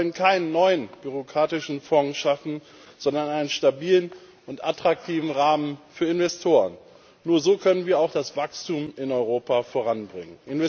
Wir wollen keinen neuen bürokratischen Fonds schaffen, sondern einen stabilen und attraktiven Rahmen für Investoren. Nur so können wir auch das Wachstum in Europa voranbringen.